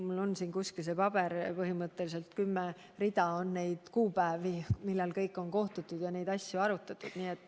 Mul on siin kuskil selle kohta üks paber, põhimõtteliselt kümme rida on neid kuupäevi, millal on kohtutud ja neid asju arutatud.